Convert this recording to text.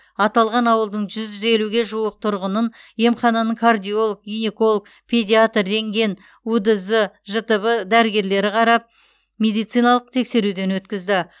аталған ауылдың жүз елуге жуық тұрғынын емхананың кардиолог гинеколог педиатр рентген удз жтб дәрігерлері қарап медициналық тексеруден өткізді